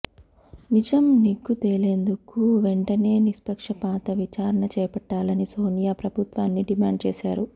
నిజం నిగ్గు తేలేందుకు వెంటనే నిష్పక్షపాత విచారణ చేపట్టాలని సోనియా ప్రభుత్వాన్ని డిమాండ్ చేశారు